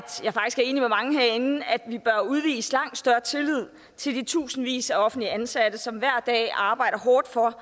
jeg udvise langt større tillid til de tusindvis af offentligt ansatte som hver dag arbejder hårdt for